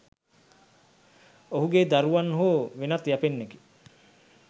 ඔහුගේ දරුවන් හෝ වෙනත් යැපෙන්නෙකි.